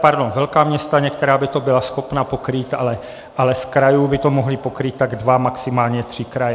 Pardon, velká města některá by to byla schopna pokrýt, ale z krajů by to mohly pokrýt tak dva, maximálně tři kraje.